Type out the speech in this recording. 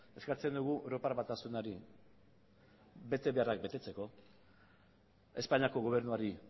eskatzen dugu europar batasunari betebeharrak betetzeko espainiako gobernuari